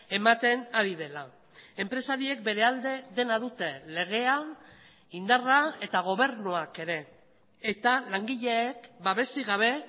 ematen ari dela enpresariek bere alde dena dute legea indarra eta gobernuak ere eta langileek babesik gabe